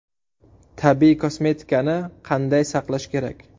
Tabiiy kosmetikani qanday saqlash kerak?